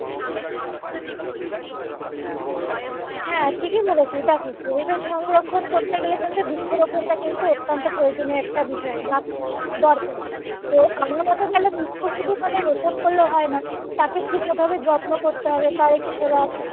হ্যাঁ ঠিকই বলেছো দেখো পরিবেষ সংরক্ষণ করতে গেলে কিন্তু বৃক্ষ রোপণ টা কিন্তু অত্যন্ত প্রয়োজনীয় একটা বিষয় বা দরকার তো আমার মতে বলে বৃক্ষ শুধু মানে রোপণ করলে হয়না তাকে ঠিক মতোভাবে যত্ন করতে হবে তার একটু সেবা,